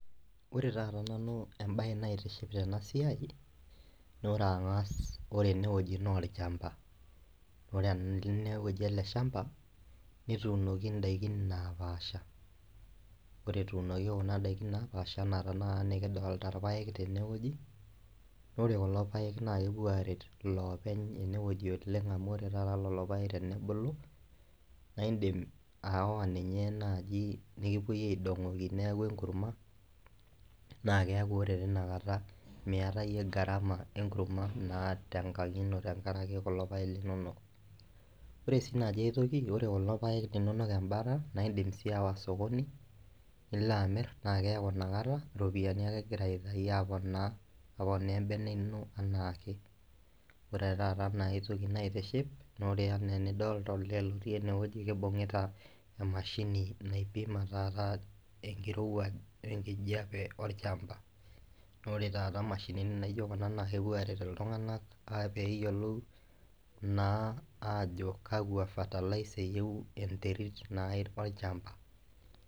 Ore taata nanu embae naitiship tenasiai na ore angas enewueji na olchamba na ore ele shamba netuunoki ndapaasha ore etuunoki ndakini napaasha ana nikidolta irpaek tenewueji, ore kulo paek na kepuo aret lopeny enewueji oleng amu ore taata lolopaek tenebulu na indim ayawa ninche nai nikipuo aidongoki neaku enkurma na keaku tinakata miyata iyie garama inakurma tenkang ino tenkaraki kulo paek linonok ,ore si enkae toki tenipik kulo paek linonok embata na indim si ayawa osokoni nilo amir na keaku inakata ropiyani ake egira aitau aponaa aponaa embene ino ana ake ore taata aitoki nagira aitiahip na ore ana enidolta olee otii enewueji na kibungita emashini naipima taata enkirowuaj olchmba na ore taata mashinini naijo kuna kepuo aret ltunganak peyiolou na ajobkaakwa fertiliser na eyieu enterit olchamba.